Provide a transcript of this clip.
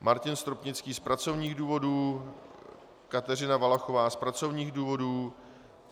Martin Stropnický z pracovních důvodů, Kateřina Valachová z pracovních důvodů